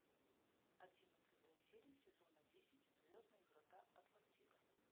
одиннадцатая серия сезона десять звездные врата атлантида